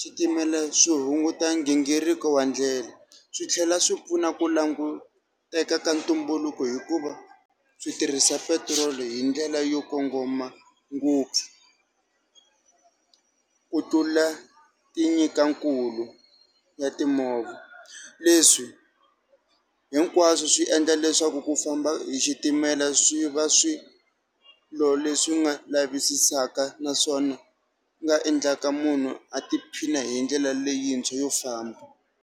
switimela swi hunguta gingiriko wa ndlela, swi tlhela swi pfuna ku languteka ka ntumbuluko hikuva swi tirhisa petiroli hi ndlela yo kongoma ngopfu ku tlula ti nyika nkulu ya timovha. Leswi hinkwaswo swi endla leswaku ku famba hi xitimela swi va swilo leswi nga lavisisa naswona nga endlaka munhu a tiphina hi ndlela leyintshwa yo famba.